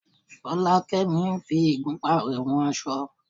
Fọlákẹ́mi ń fi igunpá rẹ̀ wọn aṣọ.